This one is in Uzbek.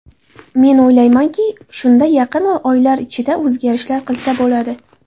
Men o‘ylaymanki, shunda yaqin oylar ichida o‘zgarishlar qilsa bo‘ladi.